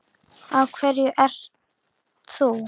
Af hverju ert þú.